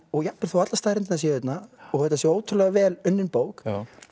og jafnvel þó allar staðreyndirnar séu hérna og þetta sé ótrúlega vel unnin bók